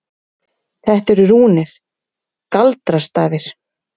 Þetta eru rúnir. galdrastafir.